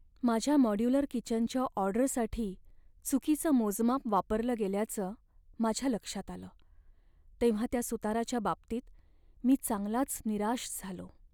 माझ्या मॉड्यूलर किचनच्या ऑर्डरसाठी चुकीचं मोजमाप वापरलं गेल्याचं माझ्या लक्षात आलं तेव्हा त्या सुताराच्या बाबतीत मी चांगलाच निराश झालो.